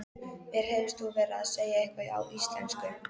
Mér heyrðist þú vera að segja eitthvað á íslensku.